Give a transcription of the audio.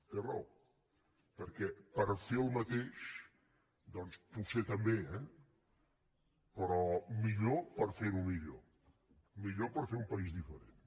té raó perquè per fer el mateix doncs potser també eh però millor per ferho millor millor per fer un país diferent